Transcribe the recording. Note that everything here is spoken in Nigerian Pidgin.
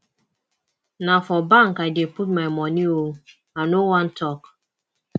na for bank i dey put my money oo i no wan talk